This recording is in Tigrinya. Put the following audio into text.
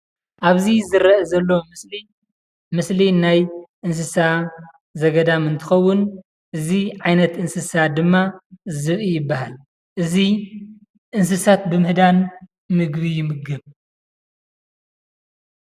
ኣብዚ ዝርአ ዘሎ ምስሊ ምስሊ ናይ እንስሳ ዘገዳም እንትከውን እዚ ዓይነት እንስሳ ድማ ዝብኢ ይበሃል። እዚ እንስሳት ብምህዳን ምግቢ ይምገብ።